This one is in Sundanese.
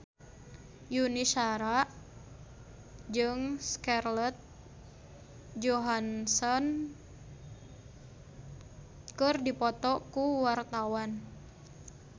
Yuni Shara jeung Scarlett Johansson keur dipoto ku wartawan